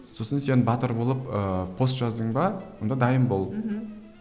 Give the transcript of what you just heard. сосын сен батыр болып ыыы пост жаздың ба онда дайын бол мхм